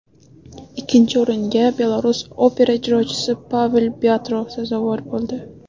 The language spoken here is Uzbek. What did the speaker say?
Ikkinchi o‘ringa Belarus opera ijrochisi Pavel Pyatro sazovor bo‘ldi.